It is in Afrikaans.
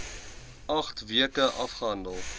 agt weke afgehandel